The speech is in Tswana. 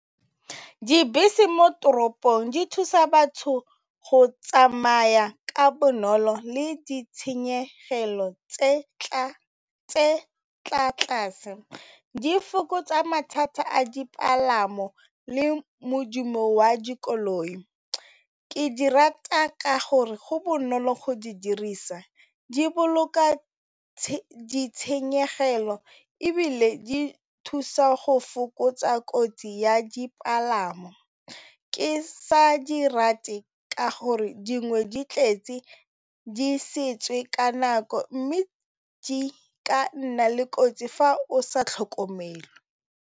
Dibese mo toropong di thusa batho go tsamaya ka bonolo le ditshenyegelo tse tla tlase di fokotsa mathata a dipalamo le modumo wa dikoloi. Ke di rata ka gore go bonolo go di dirisa di boloka ditshenyegelo ebile di thusa go fokotsa kotsi ya dipalangwa, ke sa di rate ka gore dingwe di tletse di ka nako mme di ka nna le kotsi fa o sa tlhokomele.